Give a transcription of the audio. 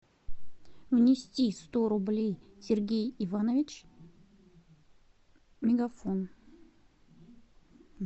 внести сто рублей сергей иванович мегафон